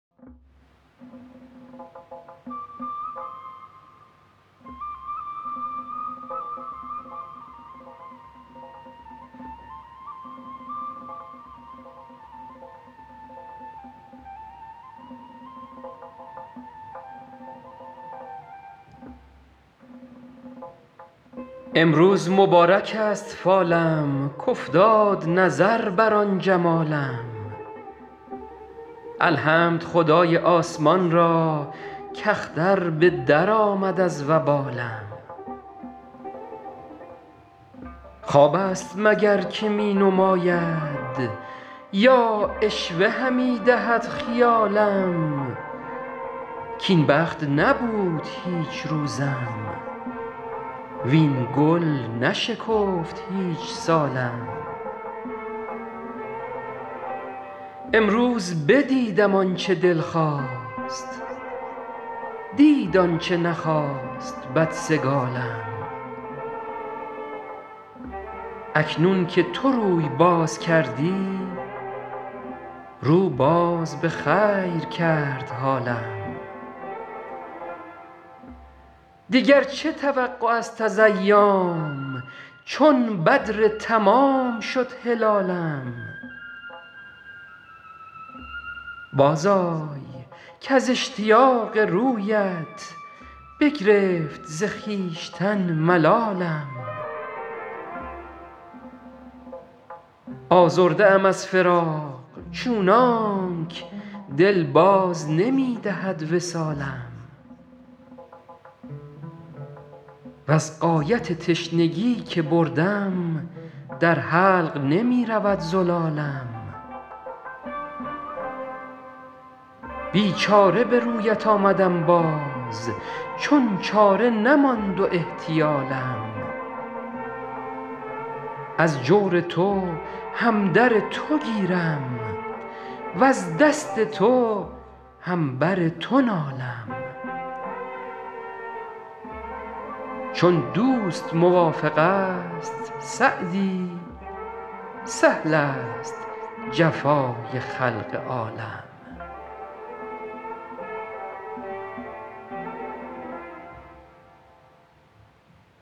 امروز مبارک است فالم کافتاد نظر بر آن جمالم الحمد خدای آسمان را کاختر به درآمد از وبالم خواب است مگر که می نماید یا عشوه همی دهد خیالم کاین بخت نبود هیچ روزم وین گل نشکفت هیچ سالم امروز بدیدم آن چه دل خواست دید آن چه نخواست بدسگالم اکنون که تو روی باز کردی رو باز به خیر کرد حالم دیگر چه توقع است از ایام چون بدر تمام شد هلالم بازآی کز اشتیاق رویت بگرفت ز خویشتن ملالم آزرده ام از فراق چونانک دل باز نمی دهد وصالم وز غایت تشنگی که بردم در حلق نمی رود زلالم بیچاره به رویت آمدم باز چون چاره نماند و احتیالم از جور تو هم در تو گیرم وز دست تو هم بر تو نالم چون دوست موافق است سعدی سهل است جفای خلق عالم